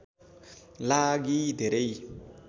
लागि धेरै